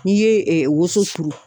N'i ye woso turu.